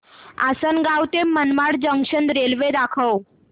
आसंनगाव ते Manmad junction railway दाखव